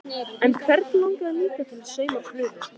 En hvern langaði líka til að sauma prufu?